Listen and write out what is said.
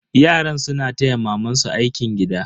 Yaran suna taya mamansu aikin gida.